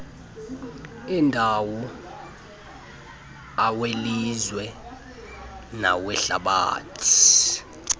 endawo awelizwe nawehlabathi